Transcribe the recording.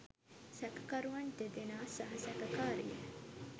සැකකරුවන් දෙදෙනා සහ සැකකාරිය